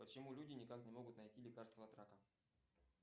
почему люди никак не могут найти лекарство от рака